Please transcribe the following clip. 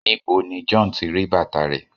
níbo ni John tí ri bàtà rẹ